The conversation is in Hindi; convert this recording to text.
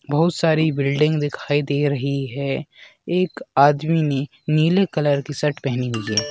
बहुत सारी बिल्डिंग दिखाई दे रही है एक आदमी ने नीले कलर की शर्ट पहनी हुई है।